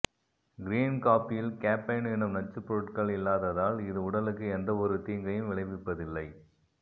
green காபியில் caffeine என்னும் நச்சு பொருட்கள் இல்லாததால் இது உடலுக்கு எந்தவொரு தீங்கயும் விளைவிப்பதில்லை